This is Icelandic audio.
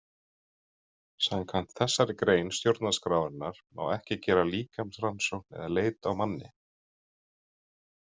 Samkvæmt þessari grein stjórnarskrárinnar má ekki gera líkamsrannsókn eða leit á manni.